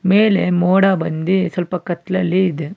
ಮೇಲೆ ಮೋಡ ಬಂದಿ ಸ್ವಲ್ಪ ಕತ್ಲಲ್ಲಿ ಇದೆ.